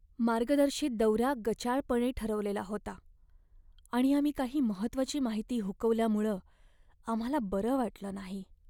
मार्गदर्शित दौरा गचाळपणे ठरवलेला होता आणि आम्ही काही महत्त्वाची माहिती हुकवल्यामुळं आम्हाला बरं वाटलं नाही.